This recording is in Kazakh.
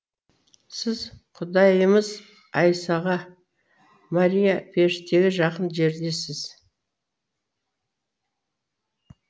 сіз құдайымыз айсаға мария періштеге жақын жердесіз